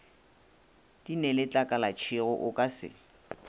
di neletlakalatšego o ka se